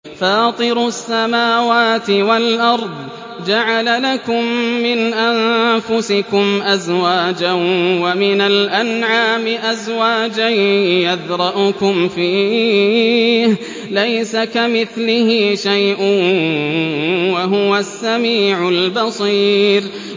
فَاطِرُ السَّمَاوَاتِ وَالْأَرْضِ ۚ جَعَلَ لَكُم مِّنْ أَنفُسِكُمْ أَزْوَاجًا وَمِنَ الْأَنْعَامِ أَزْوَاجًا ۖ يَذْرَؤُكُمْ فِيهِ ۚ لَيْسَ كَمِثْلِهِ شَيْءٌ ۖ وَهُوَ السَّمِيعُ الْبَصِيرُ